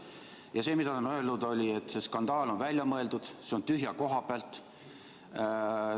Ja see, mis ta on öelnud, on see, et see skandaal on välja mõeldud, see on tühja koha pealt.